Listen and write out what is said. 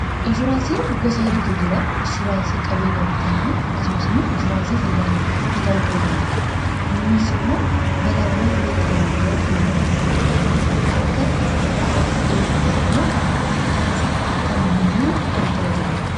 inshuraansiin gosa hedduuta jira inshuuraansii qabeenyan bitanna akkasumas immoo insuraansii fayyaa namaati bitamuu ta'u danda'a kunis immoo balaawwan hin eeggamne gara fulduratti muddatan akka irraa of eegnu kan immoo miidhaan isaa akka nu hin miineef kan tajaajilanidhaa